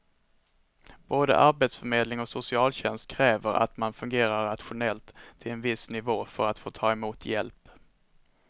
Både arbetsförmedling och socialtjänst kräver att man fungerar rationellt till en viss nivå för att få ta emot hjälp.